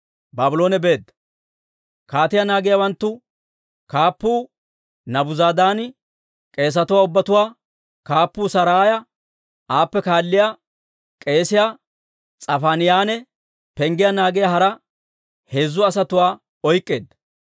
Kaatiyaa naagiyaawanttu kaappuu Naabuzaradaani k'eesatuwaa ubbatuwaa kaappuu Saraaya, aappe kaalliyaa k'eesiyaa S'afaaniyaanne penggiyaa naagiyaa hara heezzu asatuwaa oyk'k'eedda.